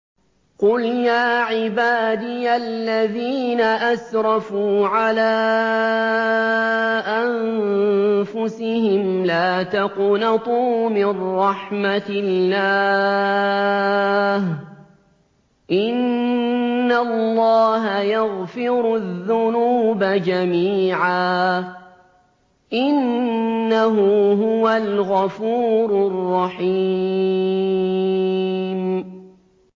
۞ قُلْ يَا عِبَادِيَ الَّذِينَ أَسْرَفُوا عَلَىٰ أَنفُسِهِمْ لَا تَقْنَطُوا مِن رَّحْمَةِ اللَّهِ ۚ إِنَّ اللَّهَ يَغْفِرُ الذُّنُوبَ جَمِيعًا ۚ إِنَّهُ هُوَ الْغَفُورُ الرَّحِيمُ